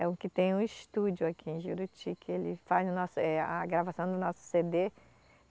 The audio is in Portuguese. É o que tem o estúdio aqui em Juruti, que ele faz nossa, eh, a gravação do nosso cê dê.